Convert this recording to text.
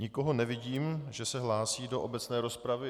Nikoho nevidím, že se hlásí do obecné rozpravy.